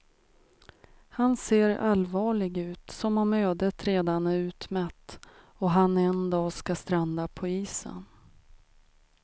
Han ser allvarlig ut som om ödet redan är utmätt och han en dag ska stranda på isen.